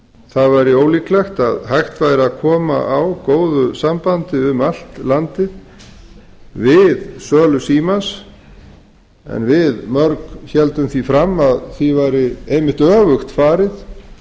það væri ólíklegt að hægt væri að koma á góðu sambandi um allt landið við sölu símans en við mörg héldum því fram að því væri einmitt öfugt farið